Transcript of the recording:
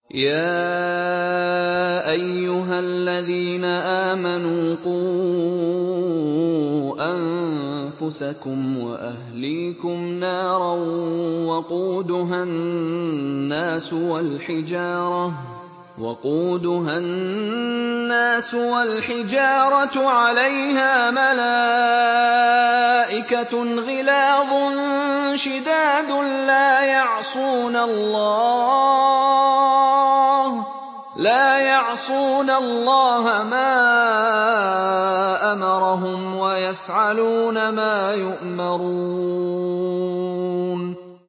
يَا أَيُّهَا الَّذِينَ آمَنُوا قُوا أَنفُسَكُمْ وَأَهْلِيكُمْ نَارًا وَقُودُهَا النَّاسُ وَالْحِجَارَةُ عَلَيْهَا مَلَائِكَةٌ غِلَاظٌ شِدَادٌ لَّا يَعْصُونَ اللَّهَ مَا أَمَرَهُمْ وَيَفْعَلُونَ مَا يُؤْمَرُونَ